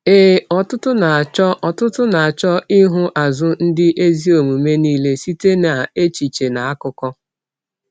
Ee, ọtụtụ na-achọ ọtụtụ na-achọ ịhụ azụ ndị ezi omume niile site n’echiche na akụkọ.